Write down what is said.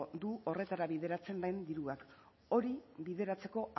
du horretara bideratzen den dirua hori bideratzeko